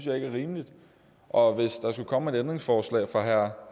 er rimeligt og hvis der skulle komme et ændringsforslag fra herre